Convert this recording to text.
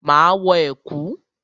Máa wọ ẹ̀kú.